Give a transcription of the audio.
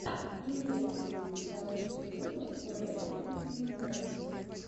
имеется ли у тебя лучший выпуск уэса и флинна